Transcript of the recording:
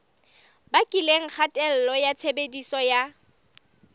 bakileng kgatello ya tshebediso ya